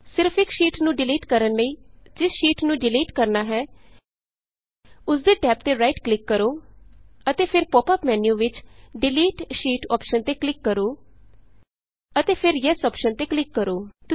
ਸਿਰਫ ਇਕ ਸ਼ੀਟ ਨੂੰ ਡਿਲੀਟ ਕਰਨ ਲਈ ਜਿਸ ਸ਼ੀਟ ਨੂੰ ਡਿਲੀਟ ਕਰਨਾ ਹੈ ਉਸ ਦੇ ਟੈਬ ਤੇ ਰਾਈਟ ਕਲਿਕ ਕਰੋ ਅਤੇ ਫਿਰ ਪੋਪ ਅੱਪ ਮੈਨਯੂ ਵਿਚ ਡਿਲੀਟ ਡਿਲੀਟ ਸ਼ੀਟ ਅੋਪਸ਼ਨ ਤੇ ਕਲਿਕ ਕਰੋ ਅਤੇ ਫਿਰ ਯੈੱਸ ਯੇਸ ਅੋਪਸ਼ਨ ਤੇ ਕਲਿਕ ਕਰੋ